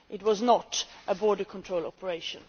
It was not a border control operation.